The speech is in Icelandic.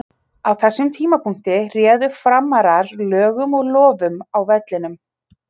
Á þessum tímapunkti réðu Framarar lögum og lofum á vellinum.